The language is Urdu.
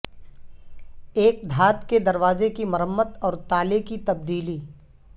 ایک دھات کے دروازے کی مرمت اور تالے کی تبدیلی